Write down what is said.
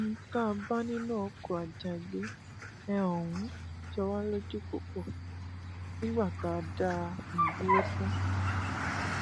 ohun tá a bá nínú ọkọ àjàgbé um ọhún jọ wá lójú púpọ nígbà tá a dá a um dúró tán